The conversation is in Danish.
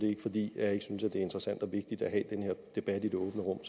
er fordi jeg ikke synes det er interessant og vigtigt at have den her debat i det åbne rum